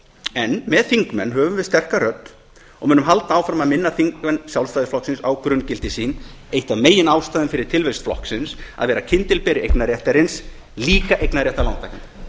en með þingmenn höfum við sterka rödd og munum halda áfram að minna þingmenn sjálfstæðisflokksins á grunngildi sín eina af megin ástæðum fyrir tilvist flokksins að vera kyndilberi eignarréttarins líka eignarréttar lántakenda